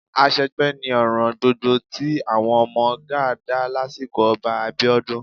Àṣegbé ni ọ̀ràn gbogbo tí àwọn ọmọ Gáà dá lásìkò Ọba Abíọ́dún